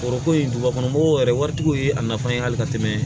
Foroko in dugubakɔnɔ mɔgɔw yɛrɛ waritigiw ye a nafa ye hali ka tɛmɛ